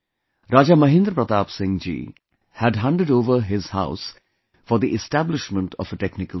Raja Mahendra Pratap Singh ji had handed over his house for the establishment of a technical school